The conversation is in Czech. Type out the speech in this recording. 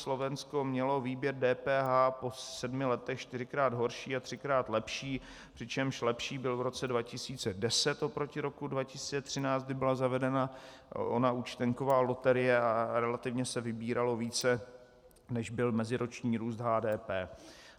Slovensko mělo výběr DPH po sedmi letech čtyřikrát horší a třikrát lepší, přičemž lepší byl v roce 2010 oproti roku 2013, kdy byla zavedena ona účtenková loterie a relativně se vybíralo více, než byl meziroční růst HDP.